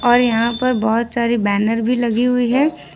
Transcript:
और यहां पर बहुत सारी बैनर भी लगी हुई है।